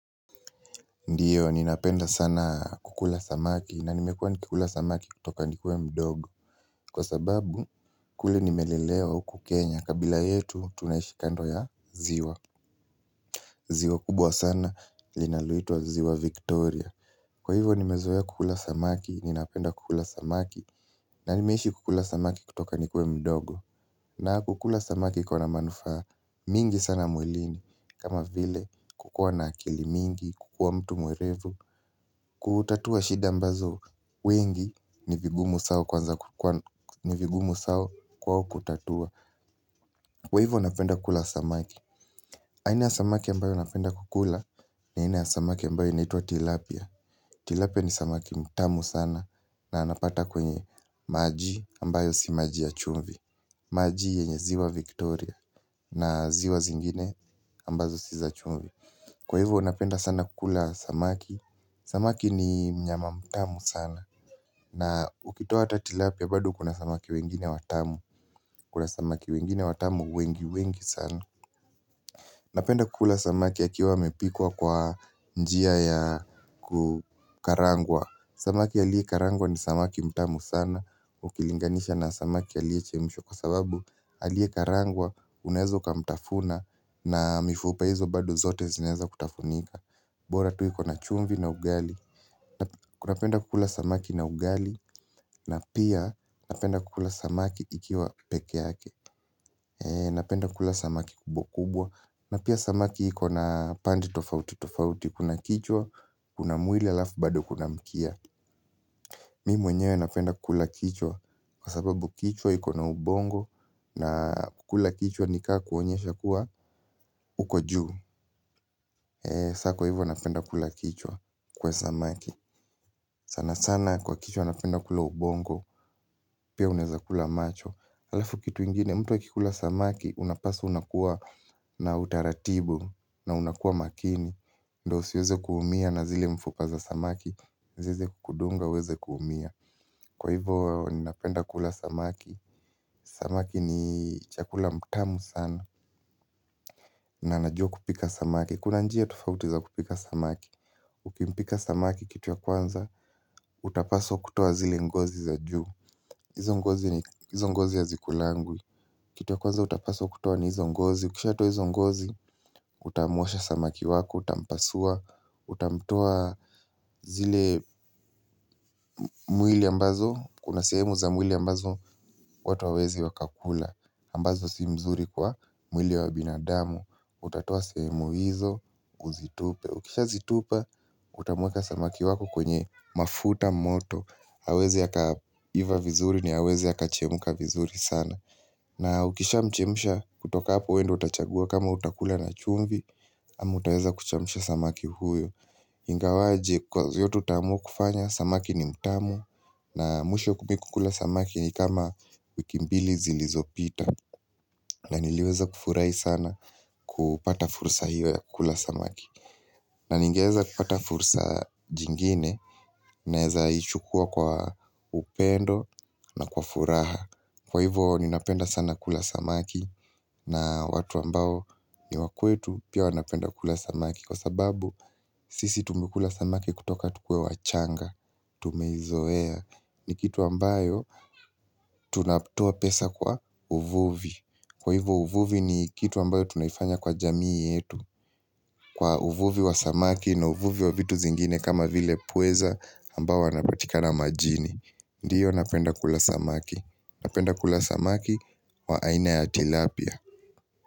Ndiyo, ninapenda sana kukula samaki na nimekuwa nikikula samaki kutoka nikiwa mdogo, kwa sababu, kule nimelelewa huku Kenya kabila yetu, tunaishi kando ya ziwa. Ziwa kubwa sana, linaloitwa ziwa Victoria. Kwa hivyo, nimezoea kukula samaki, ninapenda kukula samaki. Na nimeishi kukula samaki kutoka nikiwa mdogo. Na kukula samaki iko na manufaa mingi sana mwilini, kama vile, kukuwa na akili mingi, kukuwa mtu mwerevu. Kutatua shida ambazo wengi ni vigumu sana kwao kutatua. Kwa hivyo napenda kula samaki. Aina ya samaki ambayo napenda kukula na aina ya samaki ambayo inaitwa Tilapia Tilapia ni samaki mtamu sana. Na napata kwenye maji ambayo si maji ya chumvi. Maji yenye ziwa Victoria Na ziwa zingine ambazo si za chumvi. Kwa hivyo napenda sana kukula samaki. Samaki ni mnyama mtamu sana na ukitoa hata tilapia bado uko na samaki wengine watamu. Kuna samaki wengine watamu wengi wengi sana. Napenda kukula samaki akiwa amepikwa kwa njia ya kukarangwa. Samaki aliyekarangwa ni samaki mtamu sana ukilinganisha na samaki aliyechemshwa kwa sababu aliyekarangwa unaweza ukamtafuna. Na mifupa hizo bado zote zinaweza kutafunika. Bora tu iko na chumvi na ugali. Kunapenda kukula samaki na ugali na pia napenda kukula samaki ikiwa peke yake. Napenda kukula samaki kubwa kubwa. Na pia samaki iko na pande tofauti tofauti. Kuna kichwa, kuna mwili alafu bado kuna mkia. Mimi mwenyewe napenda kukula kichwa kwa sababu kichwa iko na ubongo na kukula kichwa ni kama kuonyesha kuwa uko juu. Sa kwa hivyo napenda kukula kichwa kwa samaki sana sana kwa kichwa napenda kula ubongo. Pia unaweza kula macho. Halafu kitu ingine mtu wa akikula samaki unapaswa unakuwa na utaratibu. Na unakuwa makini, ndio usiweze kuumia na zile mfupa za samaki. Ziweze kukudunga uweze kuumia. Kwa hivyo ninapenda kula samaki. Samaki ni chakula mtamu sana na najua kupika samaki. Kuna njia tofauti za kupika samaki. Ukimpika samaki kitu ya kwanza, utapaswa kutoa zile ngozi za juu, hizo ngozi ni hizo ngozi hazikulangwi. Kitu ya kwanza utapaswa kutoa ni hizo ngozi, ukishatoa hizo ngozi, utamuosha samaki wako, utampasua, utamtoa zile mwili ambazo, kuna sehemu za mwili ambazo watu hawawezi wakakula, ambazo si mzuri kwa mwili wa binadamu, utatoa sehemu hizo, uzitupe. Ukishazitupa utamweka samaki wako kwenye mafuta moto aweze akaiva vizuri ni aweze akachemka vizuri sana. Na ukisha mchemsha, kutoka hapo wewe ndio utachagua kama utakula na chumvi. Ama utaweza kuchemsha samaki huyo. Ingawaje kwa vyote utaamua kufanya samaki ni mtamu. Na mwisho kukula samaki ni kama wiki mbili zilizopita. Na niliweza kufurahi sana kupata fursa hiyo ya kula samaki. Na ningeweza kupata fursa jingine nawezaichukua kwa upendo na kwa furaha. Kwa hivyo ninapenda sana kula samaki na watu ambao ni wa kwetu pia wanapenda kula samaki kwa sababu sisi tumekula samaki kutoka tukuwe wachanga. Tumeizoea ni kitu ambayo tunatoa pesa kwa uvuvi. Kwa hivyo uvuvi ni kitu ambayo tunaifanya kwa jamii yetu. Kwa uvuvi wa samaki na uvuvi wa vitu zingine kama vile pweza ambao wanapatikana majini. Ndiyo napenda kula samaki. Napenda kula samaki wa aina ya tilapia.